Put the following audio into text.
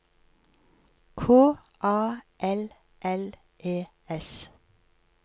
K A L L E S